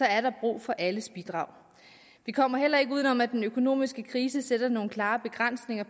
er der brug for alles bidrag vi kommer heller ikke uden om at den økonomiske krise sætter nogle klare begrænsninger